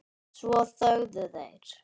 Svo þögðu þeir.